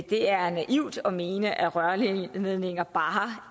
det er naivt at mene at rørledninger bare